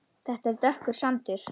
Þetta er dökkur sandur.